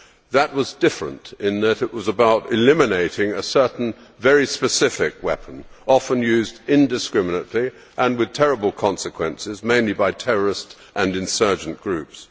That was different in that it was about eliminating a certain very specific weapon, often used indiscriminately and with terrible consequences, mainly by terrorist and insurgent groups.